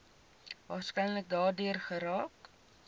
waarskynlik daardeur geraak